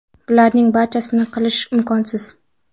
Bularning barchasini qilish imkonsiz.